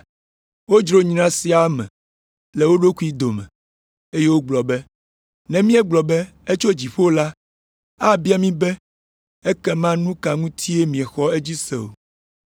Wodzro nya sia me le wo ɖokuiwo dome, eye wogblɔ be, “Ne míegblɔ be, ‘Etso dziƒo’ la, abia mí be, ‘Ekema nu ka ŋutie miexɔ edzi se o?’